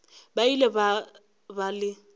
ba ile ba ba le